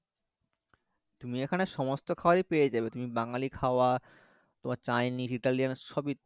তুমি এখানে সমস্ত খাওয়ার এই পেয়ে যাবে তুমি বাঙালী খাওয়া তোমার chinese, brownie সবই